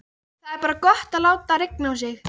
Það er bara gott að láta rigna á sig.